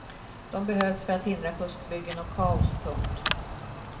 De behövs för att hindra fuskbyggen och kaos. punkt